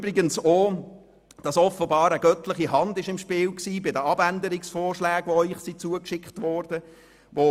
Weiter möchte ich erwähnen, dass offenbar bei den Abänderungsvorschlägen eine göttliche Hand im Spiel war.